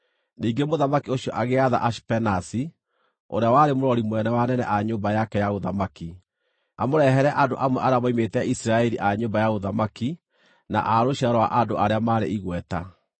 Ningĩ mũthamaki ũcio agĩatha Ashipenazi, ũrĩa warĩ mũrori mũnene wa anene a nyũmba yake ya ũthamaki, amũrehere andũ amwe arĩa moimĩte Isiraeli a nyũmba ya ũthamaki na a rũciaro rwa andũ arĩa maarĩ igweta,